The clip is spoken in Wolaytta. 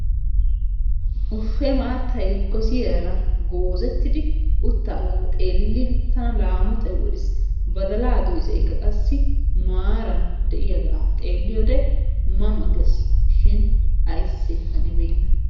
Wuhee maattay gosiyaara goozettidi uttaagaa xeelin tana laamotay woriis, baddalaa doyssaykka qassi maaran de'iyagaa xeeliyode ma ma gees shin aysee hanibeena.